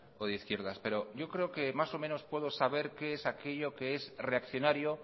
o de izquierdas pero yo creo que más o menos puedo saber qué es aquello que es reaccionario